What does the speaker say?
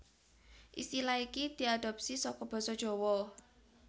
Istilah iki diadhopsi saka basa Jawa